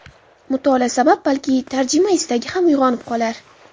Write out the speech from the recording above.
Mutolaa sabab balki tarjima istagi ham uyg‘onib qolar.